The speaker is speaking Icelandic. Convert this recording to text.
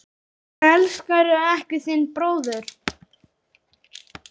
Elskaðu ekki þinn bróður.